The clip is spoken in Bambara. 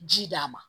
Ji d'a ma